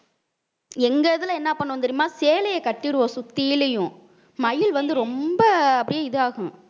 எங்க இதுல என்ன பண்ணுவோம் தெரியுமா சேலைய கட்டிருவோம் சுத்திலையும் மயில் வந்து ரொம்ப ஆஹ் அப்படியே இதாகும்